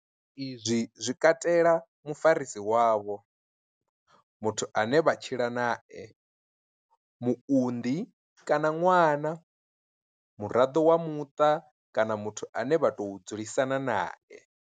Izwi zwi katela mufarisi wavho, muthu ane vha tshila nae, muunḓi kana ṅwana, muraḓo wa muṱa kana muthu ane vha tou dzulisana nae.